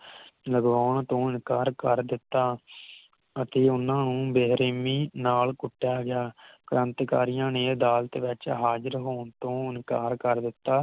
ਜਦੋ ਆਉਣ ਤੋਂ ਇਨਕਾਰ ਕਰ ਦਿਤਾ ਅਤੇ ਓਹਨਾ ਨੂੰ ਬੇਰਹਿਮੀ ਨਾਲ ਕੁਟਿਆ ਗਿਆ ਕ੍ਰਾਂਤੀਕਾਰੀਆਂ ਨੇ ਅਦਾਲਤ ਵਿਚ ਹਾਜ਼ਰ ਹੋਣ ਤੋਂ ਇਨਕਾਰ ਕਰ ਦਿਤਾ